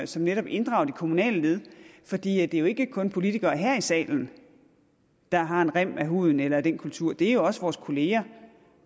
som netop inddrager de kommunale led for det er jo ikke kun politikere her i salen der har en rem af huden eller den kultur det er også vores kolleger